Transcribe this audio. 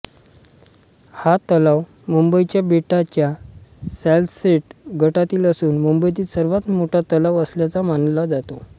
हा तलाव मुंबईच्या बेटांच्या सॅलसेट गटातील असून मुंबईतील सर्वात मोठा तलाव असल्याचे मानला जातो